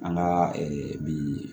An ka bi